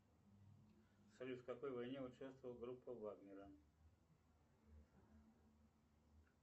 салют в какой войне участвовала группа вагнера